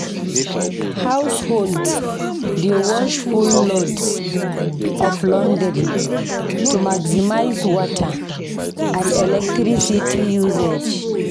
Households dey wash full loads of laundry to maximize water and electricity usage.